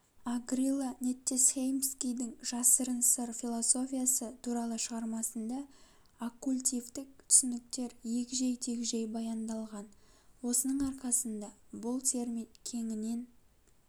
агрила неттесхеймскийдің жасырын сыр философиясы туралы шығармасында оккультивтік түсініктер егжей-тегжей баяндалған осының арқасында бұл термин кеңінен